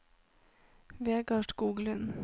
Vegar Skoglund